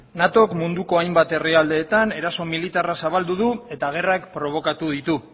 natok munduko hainbat herrialdeetan eraso militarra zabaldu du eta gerrak probokatu ditu